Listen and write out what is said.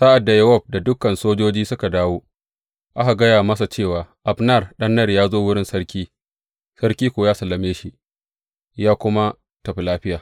Sa’ad da Yowab da dukan sojoji suka dawo, aka gaya masa cewa Abner ɗan Ner ya zo wurin sarki, sarki kuwa ya sallame shi, ya kuma tafi lafiya.